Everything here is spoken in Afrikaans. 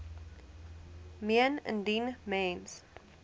meen indien mens